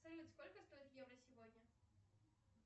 салют сколько стоит евро сегодня